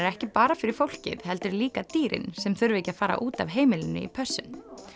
ekki bara fyrir fólkið heldur líka dýrin sem þurfa ekki að fara út af heimilinu í pössun